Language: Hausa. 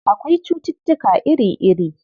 Akwai cututtuka iri-iri.